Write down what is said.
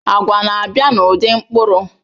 Agwa na-abịa n'ụdị mkpụrụ